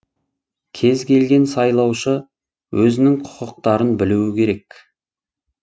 кез келген сайлаушы өзінің құқықтарын білуі керек